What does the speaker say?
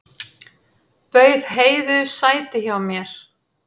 Bauð Heiðu sæti hjá mér.